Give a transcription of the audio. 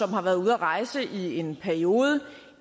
har været ude at rejse i en periode